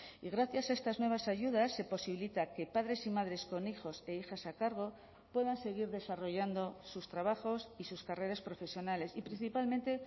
y gracias a estas nuevas ayudas se posibilita que padres y madres con hijos e hijas a cargo puedan seguir desarrollando sus trabajos y sus carreras profesionales y principalmente